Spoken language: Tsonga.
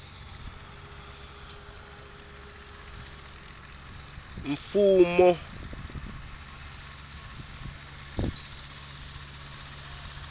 mfumo